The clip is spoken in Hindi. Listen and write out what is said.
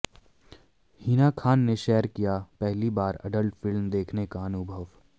हिना खान ने शेयर किया पहली बार एडल्ट फिल्म देखने का अनुभव